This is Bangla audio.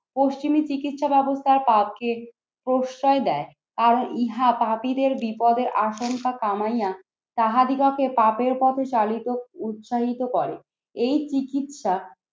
পশ্চিমি চিকিৎসা ব্যবস্থায় তাকে প্রশ্রয় দেয় আর ইহা পাপিদের বিপদের আশঙ্কা কামাইয়া তাহা দিগকে পাপের পথে চালিত উৎসাহিত করে। এই চিকিৎসা